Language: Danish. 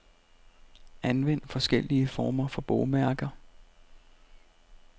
Anvend forskellige former for bogmærker.